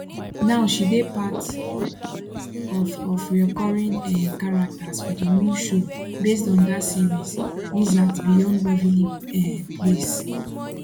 now she dey part of of reoccuring um characters for di new show based on dat series wizards beyond waverly um place